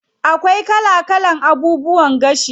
Akwai kala kala abubuwan gashi.